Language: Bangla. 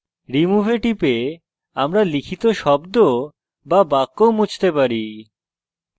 remove we টিপে আমরা লিখিত শব্দ বা বাক্য মুছতে পারি